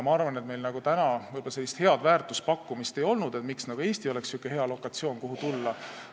Ma arvan, et meil võib-olla sellist head väärtuspakkumist ei olnud, miks Eesti oleks olnud niisugune hea lokatsioon, kuhu tulla.